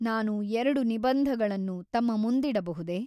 ನಾನು ಎರಡು ನಿಬಂಧಗಳನ್ನು ತಮ್ಮ ಮುಂದಿಡಬಹುದೆ ?